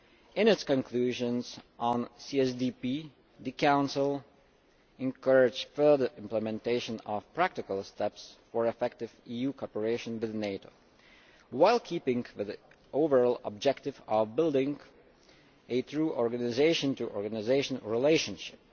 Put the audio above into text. In its conclusions on CSDP the Council encouraged further implementation of practical steps for effective EU cooperation with NATO, while keeping the overall objectives of building a true organisation to organisation relationship.